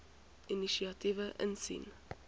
inisiatiewe insien